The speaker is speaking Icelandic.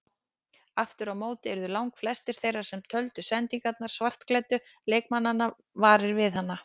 Aftur á móti urðu langflestir þeirra sem töldu sendingar svartklæddu leikmannanna varir við hana.